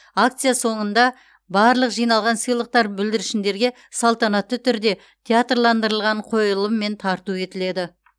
акция соныңда барлық жиналған сыйлықтар бүлдіршіндерге салтанатты түрде театрландырылған қойылыммен тарту етіледі